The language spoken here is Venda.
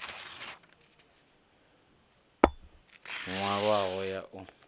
nwalwaho ya u fhedza i